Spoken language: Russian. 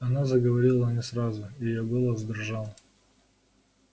она заговорила не сразу и её голос дрожал